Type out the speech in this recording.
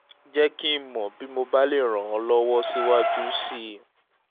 jẹ́ kí n mọ̀ bí mo bá lè um ràn ọ́ lọ́wọ́ síwájú um sí i